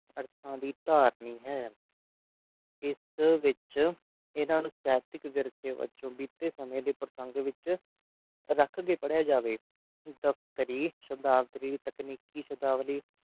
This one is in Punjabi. ਅਰਥਾਂ ਦੀ ਧਾਰਨੀ ਹੈ ਇਸ ਵਿਚ ਇਨ੍ਹਾਂ ਨੂੰ ਸਾਹਿਤਕ ਵਿਰਸੇ ਵਜੋਂ ਬੀਤੇ ਸਮੇਂ ਦੇ ਪ੍ਰਸੰਗ ਵਿਚ ਰੱਖ ਕੇ ਪੜ੍ਹਿਆ ਜਾਵੇ ਦਫ਼ਤਰੀ ਸ਼ਬਦਾਵਰੀ ਤਕਨੀਕੀ ਸ਼ਬਦਾਵਲੀ